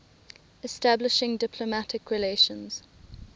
establishing diplomatic relations